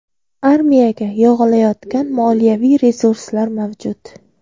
Armiyaga yog‘ilayotgan moliyaviy resurslar mavjud.